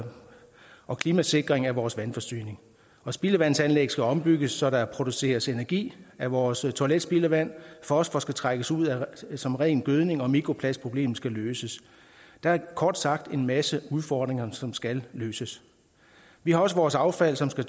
og klimasikring af vores vandforsyning spildevandsanlæg skal ombygges så der produceres energi af vores toiletspildevand fosfor skal trækkes ud som ren gødning og mikroplastproblemet skal løses der er kort sagt en masse udfordringer som skal løses vi har også vores affald som skal